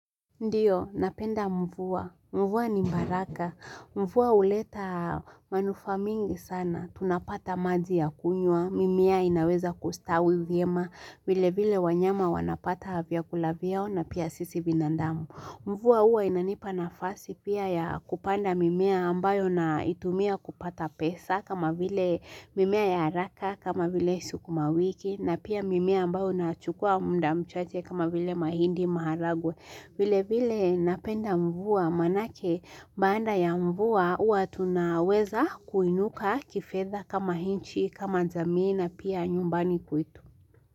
Ndiyo, napenda mvua. Mvua ni mbaraka. Mvua huleta manufa mingi sana. Tunapata maji ya kunywa. Mimea inaweza kustawi vyema. Vile vile wanyama wanapata vyakula vyao na pia sisi binadamu. Mvua huwa inanipa nafasi pia ya kupanda mimea ambayo naitumia kupata pesa kama vile mimea ya haraka kama vile sukumawiki na pia mimea ambayo nachukua muda mchache kama vile mahindi maharagwe. Vile vile napenda mvua maana ake baada ya mvua huwa tunaweza kuinuka kifedha kama nchi kama jamii na pia nyumbani kwetu.